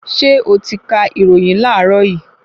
Ṣé oti kà ìròyìn láàrọ yìí?